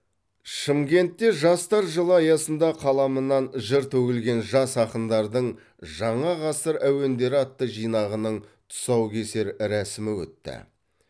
шымкентте жастар жылы аясында қаламынан жыр төгілген жас ақындардың жаңа ғасыр әуендері атты жинағының тұсау кесер рәсімі өтті